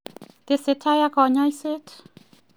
Tesetai ak konyosiet.